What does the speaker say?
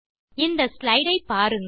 இந்த ஸ்லைடு ஐ பாருங்கள்